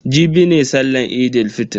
Jibi ne sallan Eid fitr.